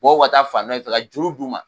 Bɔw ka taa fan dɔ in fɛ ka juru d'u ma